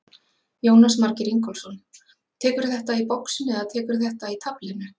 Jónas Margeir Ingólfsson: Tekurðu þetta í boxinu eða tekurðu þetta í taflinu?